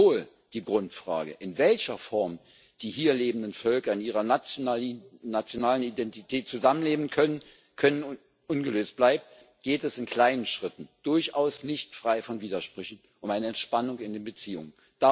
Obwohl die Grundfrage, in welcher Form die hier lebenden Völker in ihrer nationalen Identität zusammen leben können, ungelöst bleibt, geht es in kleinen Schritten durchaus nicht frei von Widersprüchen um eine Entspannung in den Beziehungen.